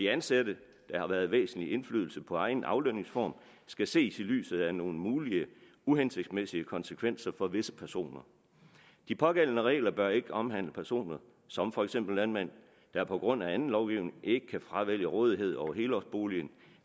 ansatte med væsentlig indflydelse på egen aflønningsform skal ses i lyset af nogle mulige uhensigtsmæssige konsekvenser for visse personer de pågældende regler bør ikke omhandle personer som for eksempel landmænd der på grund af anden lovgivning ikke kan fravælge rådighed over helårsboligen